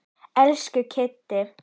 Elsku Kiddý.